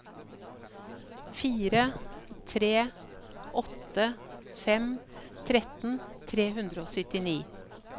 fire tre åtte fem tretten tre hundre og syttini